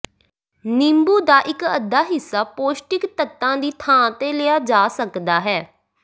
ਨਿੰਬੂ ਦਾ ਇੱਕ ਅੱਧਾ ਹਿੱਸਾ ਪੌਸ਼ਟਿਕ ਤੱਤਾਂ ਦੀ ਥਾਂ ਤੇ ਲਿਆ ਜਾ ਸਕਦਾ ਹੈ